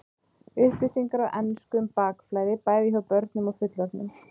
Upplýsingar á ensku um bakflæði, bæði hjá börnum og fullorðnum.